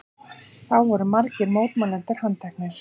Þá voru margir mótmælendur handteknir